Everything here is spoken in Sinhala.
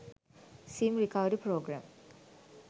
sim recovery program